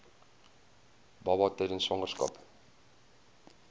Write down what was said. baba tydens swangerskap